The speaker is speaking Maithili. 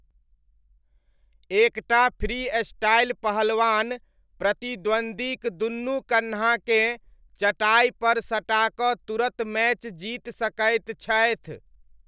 एक टा फ्रीस्टाइल पहलवान प्रतिद्वन्द्वीक दुनू कन्हाकेँ चटाइपर सटाकऽ तुरत मैच जीति सकैत छथि।